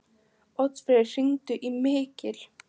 Oddfreyr, hringdu í Mikil.